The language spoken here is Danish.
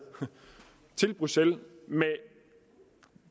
til bruxelles med